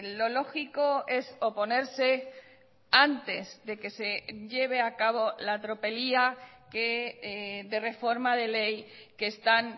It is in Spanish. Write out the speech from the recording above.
lo lógico es oponerse antes de que se lleve a cabo la tropelía que de reforma de ley que están